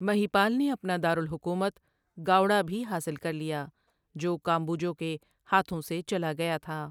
مہیپال نے اپنا دارالحکومت، گاؤڑا، بھی حاصل کر لیا، جو کامبوجوں کے ہاتھوں سے چلا گیا تھا۔